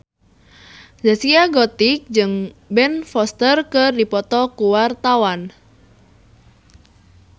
Zaskia Gotik jeung Ben Foster keur dipoto ku wartawan